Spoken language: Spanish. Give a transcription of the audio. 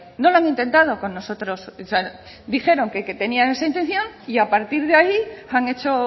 no lo han intentado con nosotros dijeron que tenían esa intención y a partir de ahí han hecho